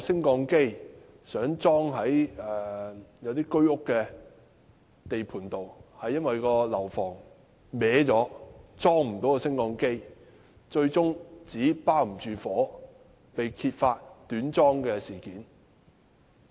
當時想在居屋的地盤內安裝升降機，但因樓房歪了未能成功安裝，最終紙包不住火，被揭發短樁事件。